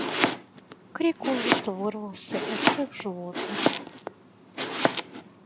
крик ужаса вырвался у всех животных